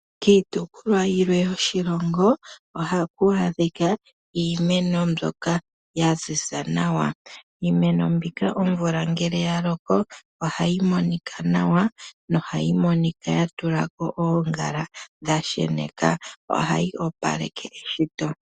Kiitopolwa yilwe yoshilongo ohaku adhika iimeno mboka yaziza nawa. Iimeno mbika omvula ngele yaloko, ohayimonika nawa nohayimonika yatulako oongala dhasheneka ohayi opaleke eshito.